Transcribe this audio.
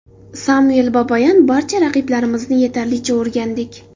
Samvel Babayan: Barcha raqiblarimizni yetarlicha o‘rgandik.